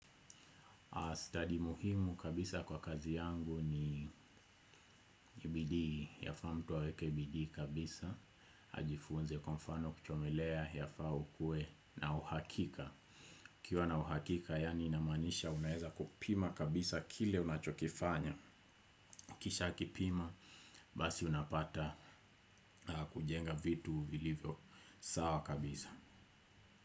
Study muhimu kabisa kwa kazi yangu ni bidii, yafaa mtu aweke bidii kabisa, ajifunze kwafano kuchomelea, yafaa ukuwe na uhakika. Ukiuwa na uhakika, yaani inamanisha unaeza kupima kabisa kile unachokifanya, ukisha kipima, basi unapata kujenga vitu vilivyo sawa kabisa.